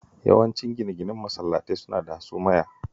Yawancin gine-ginen masallatai suna da hasumaya